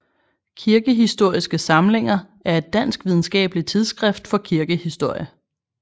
Kirkehistoriske samlinger er et dansk videnskabeligt tidsskrift for kirkehistorie